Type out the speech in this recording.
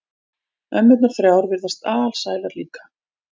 Ömmurnar þrjár virðast alsælar líka.